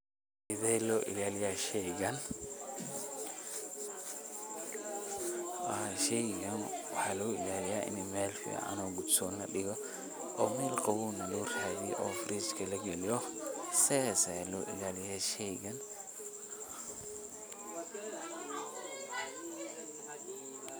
Sidee loo ilaaliya sheygan, sheygan waxa loo ilaaliya in meel fcn oo gudson ladigo, oo meel qawow neh loo radiyo oo Fridge lagaliyo, sidas Aya loo ilaaliya sheygan.